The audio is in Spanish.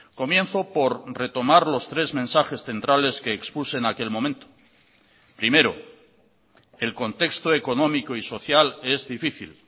comienzo por retomar los tres mensajes centrales que expuse en aquel momento primero el contexto económico y social es difícil